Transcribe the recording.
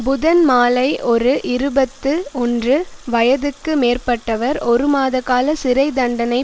புதன் மாலை ஒரு இருபத்து ஒன்று வயதுக்கு மேற்பட்டவர் ஒருமாத கால சிறை தண்டனை